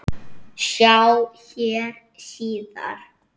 Sjá hér síðar.